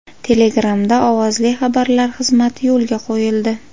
Telegram’da ovozli xabarlar xizmati yo‘lga qo‘yildi.